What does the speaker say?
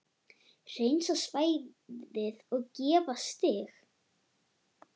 Hreinsa svæðið og gera stíg.